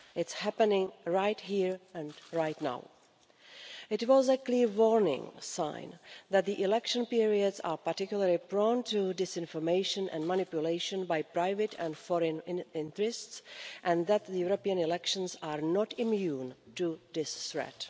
It is happening right here and right now. It was a clear warning sign that the election periods are particularly prone to disinformation and manipulation by private and foreign interests and that the European elections are not immune to this threat.